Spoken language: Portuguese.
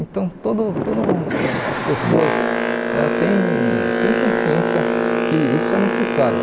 Então, todo todo as pessoas ãh têm têm consciência que isso é necessário.